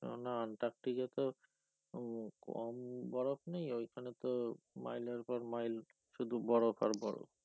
না না আন্টার্টিকা তো কম বরফ নেই ওইখানে তো মাইলের পর মাইল শুধু বরফ আর বরফ।